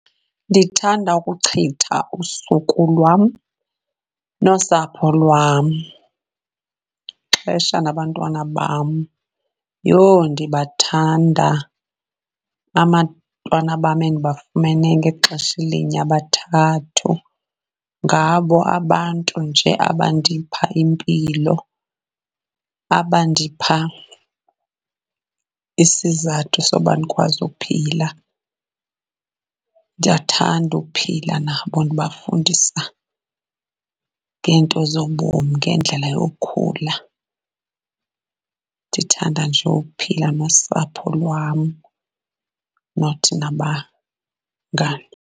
Ndithanda ukuchitha usuku lwam nosapho lwam. Ixesha nabantwana bam, yho ndibathanda abantwana bam endibafumene ngexesha elinye abathathu, ngabo abantu nje abandipha impilo, abandipha isizathu soba ndikwazi uphila. Ndiyathanda uphila nabo ndibafundisa ngeento zobomi, ngendlela yokhula. Ndithanda nje uphila nosapho lwam not nabangani.